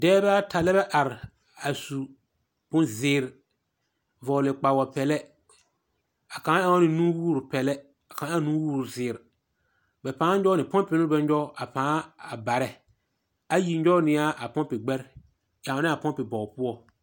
Dɛbɛ ata lɛ bɛ are, a su bonzeer, vɔgele kpawopɛlɛ, a kaŋ ɛŋ ne nuwoorpɛlɛ ɛ kaŋ ɛŋ nuwoorzeer. Bɛ pãã nyɔg ne pɔmpe no bɛ nyɔg a pãã a barɛ. Ayi nyɔge ne a gbɛre, ɛŋnaa pɔmpe bɔg poɔ.